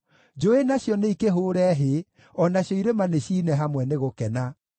Njũũĩ nacio nĩikĩhũũre hĩ, o nacio irĩma nĩciine hamwe nĩ gũkena;